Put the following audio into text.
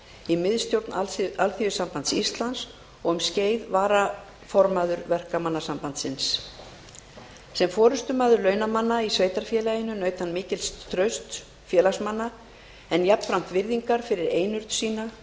í miðstjórn alþýðusambands íslands og um skeið varaformaður verkamannasambandsins sem forustumaður launamanna í sveitarfélaginu naut hann mikils trausts félagsmanna en jafnframt virðingar fyrir einurð sína